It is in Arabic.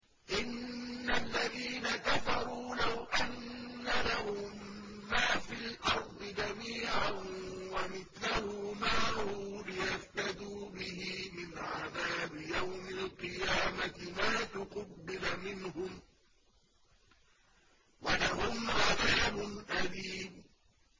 إِنَّ الَّذِينَ كَفَرُوا لَوْ أَنَّ لَهُم مَّا فِي الْأَرْضِ جَمِيعًا وَمِثْلَهُ مَعَهُ لِيَفْتَدُوا بِهِ مِنْ عَذَابِ يَوْمِ الْقِيَامَةِ مَا تُقُبِّلَ مِنْهُمْ ۖ وَلَهُمْ عَذَابٌ أَلِيمٌ